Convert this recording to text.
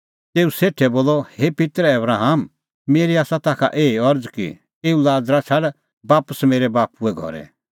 तेऊ सेठै बोलअ हे पित्तर आबराम मेरी आसा ताखा एही अरज़ कि एऊ लाज़रा छ़ाड बापस मेरै बाप्पूए घरै